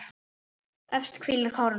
Efst hvílir kóróna.